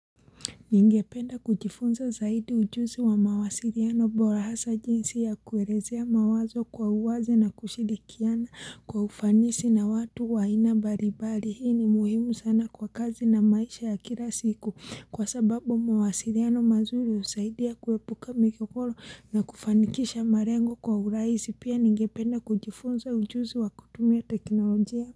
Ningependa kujifunza zaidi ujuzi wa mawasiriano bora hasa jinsi ya kuelezea mawazo kwa uwazi na kushirikiana kwa ufanisi na watu wa aina mbalimbali Hii ni muhimu sana kwa kazi na maisha ya kila siku kwa sababu mawasiliano mazuri usaidia kuepuka migogoro na kufanikisha malengo kwa urahisi. Pia ningependa kujifunza ujuzi wa kutumia teknolojia.